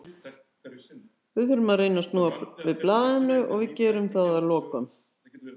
Við þurfum að reyna að snúa við blaðinu og við gerum það að lokum.